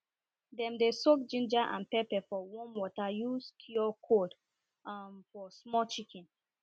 dem dey soak ginger and pepper for warm water use cure cold um for small chicken